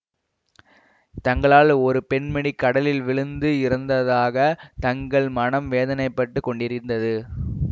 தங்களால் ஒரு பெண்மணி கடலில் விழுந்து இறந்ததாகத் தங்கள் மனம் வேதனைப்பட்டுக் கொண்டிருந்தது